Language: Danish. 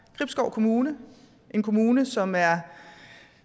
gribskov kommune en kommune som er